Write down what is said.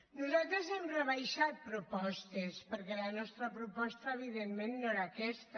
nosaltres hi hem rebaixat propostes perquè la nostra proposta evidentment no era aquesta